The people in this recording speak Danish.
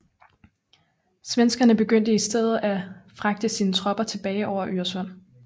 Svenskerne begyndte i stedet at fragte sine tropper tilbage over Øresund